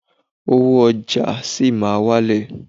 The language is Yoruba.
Owó ọjà sì máa lọlẹ̀